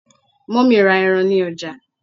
mummy ra eran ni ọjà